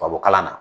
Tubabukalan na